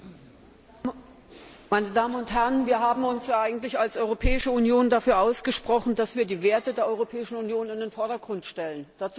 Herr Präsident, meine Damen und Herren! Wir haben uns eigentlich als Europäische Union dafür ausgesprochen, dass wir die Werte der Europäischen Union in den Vordergrund stellen.